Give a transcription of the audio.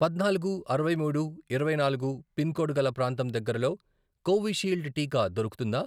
పద్నాలుగు, అరవై మూడు, ఇరవై నాలుగు, పిన్ కోడ్ గల ప్రాంతం దగ్గరలో కోవిషీల్డ్ టీకా దొరుకుతుందా?